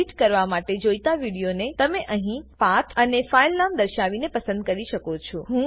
edit કરવા માટે જોઈતા વિડીયોને તમે અહીં પાથ અને ફાઈલનામ દર્શાવીને પસંદ કરી શકો છો